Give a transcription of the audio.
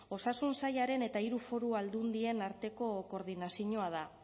osasun sailaren eta hiru foru aldundien arteko koordinazioa da